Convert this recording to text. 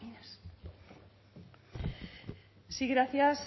sí gracias